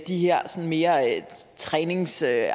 de her mere træningsagtige